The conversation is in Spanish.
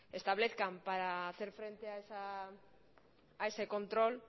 establezcan para hacer frente a ese control